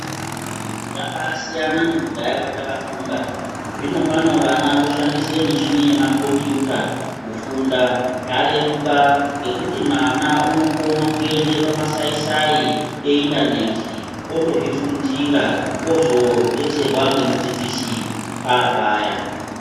Zvabasiyana nekudhaya kwataka funda zvino pano vana voshandise michini yemaKombiyuta kufunda zvareruka ngekuti mwana unokona kuenda pamasai sai eindaneti otozvifundira ozodetserwa ngemudzidzisi paapaya.